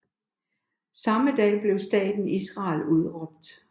Samme dag blev staten Israel udråbt